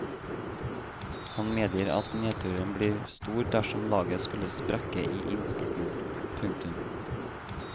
Han medgir at nedturen blir stor dersom laget skulle sprekke i innspurten. punktum